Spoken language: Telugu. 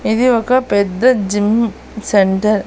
ఇది ఒక పెద్ద జిమ్ సెంటర్ .